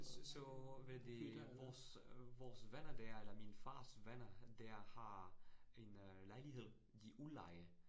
Så hvad det, vores øh vores venner der eller min fars venner der, har en øh lejlighed, de udlejer